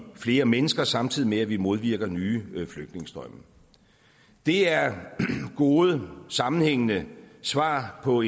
flere mennesker samtidig med at vi modvirker nye flygtningestrømme det er gode sammenhængende svar på